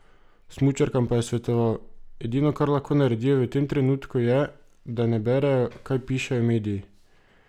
Smučarkam pa je svetoval: "Edino, kar lahko naredijo v tem trenutku, je, da ne berejo, kaj pišejo mediji.